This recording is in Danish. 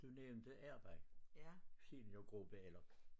Du nævnte arbejde seniorgruppe eller